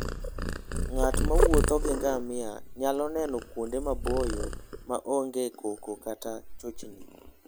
Ng'at mowuotho gi ngamia nyalo neno kuonde maboyo ma onge koko kata chochni.